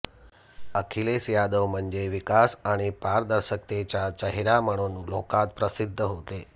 अखिलेश यादव म्हणजे विकास आणि पारदर्शकतेचा चेहरा म्हणून लोकांत प्रसिद्ध होते